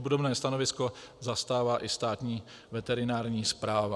Obdobné stanovisko zastává i Státní veterinární správa."